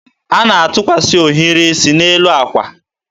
a na-atụkwasị ohiri isi n'elu akwa.